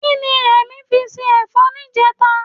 Kí ni Rẹ̀mí fi se ẹ̀fọ́ níjẹta?